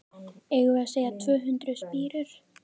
Eigum við að segja tvö hundruð spírur?